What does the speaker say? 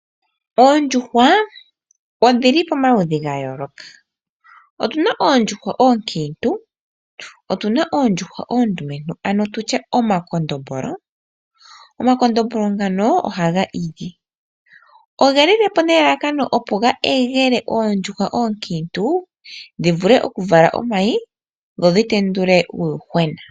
Oondjuhwa odhili pomaludhi ga yooloka, otuna oondjuhwa oonkitu, otuna oondjuhwa oondumentu ano tutye omakondombolo. Omakondombolo ngano ohaga igi, ogeli le po nelalakano opo ga egele oondjuhwa oonkitu dhi vule oku vala omayi dho dhi tendule uuyuhwena.